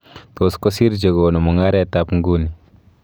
Iton kosir chekonuumugarteb nguni